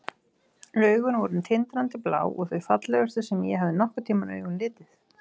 Augun voru tindrandi blá og þau fallegustu sem ég hafði nokkurn tímann augum litið.